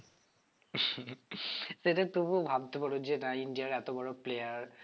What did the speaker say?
সেটা তবুও ভাবতে পারো যে না India র এতো বড়ো player